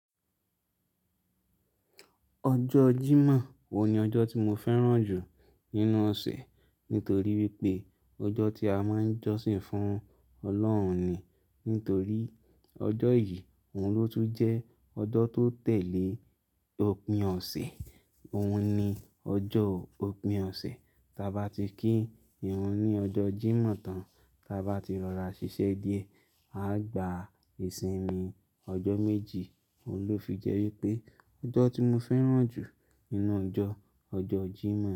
Ọjọ́ Jímọ̀ òun ní ọjọ́ tí mo fẹ́ràn jù nínú ọ̀sẹ̀, nítorí wípé ọjọ́ tí a máa ń jọ́sìn fún Ọlọ́run ni. Nítorí ọjọ́ yìí òun ló tún jẹ́ ọjọ́ tó tẹ̀lé òpin ọ̀sẹ̀, òun ni ọjọ́ òpin ọ̀sẹ̀. Taa bá ti kí ìrun ní ọjọ́ Jímọ̀ tán, taa bá ti rọ ra ṣíṣe díẹ̀, a gba ìsinmi ọjọ́ méjì. Óún ló fi jẹ́ wípé ọjọ́ tí mo fẹ́ràn jù nínú ọjọ́, ọjọ́ Jímọ̀